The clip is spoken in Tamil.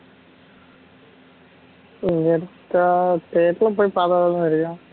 தெரில போய் பாத்தாத்தானே தெரியும்